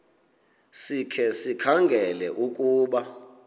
sikhe sikhangele ukuba